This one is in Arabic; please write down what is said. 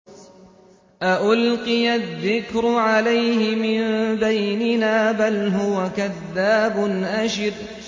أَأُلْقِيَ الذِّكْرُ عَلَيْهِ مِن بَيْنِنَا بَلْ هُوَ كَذَّابٌ أَشِرٌ